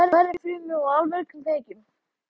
Það er í hverri frumu og allmörgum kveikjum.